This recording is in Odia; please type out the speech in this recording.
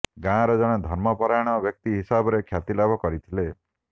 ଗାଆଁର ଜଣେ ଧର୍ମପରାୟଣ ବ୍ୟକ୍ତି ହିସାବରେ କ୍ଷ୍ଯାତି ଲାଭ କରିଥିଲେ